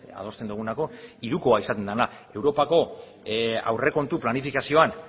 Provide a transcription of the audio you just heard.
adosten dugulako hirukoa izaten dena europako aurrekontu planifikazioan